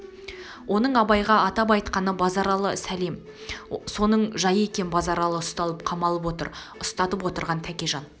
оның абайға атап айтқаны базаралы сәлем соның жайы екен базаралы ұсталып қамалып отыр ұстатып отырған тәкежан